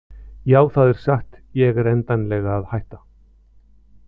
Já það er satt ég er endanlega að hætta.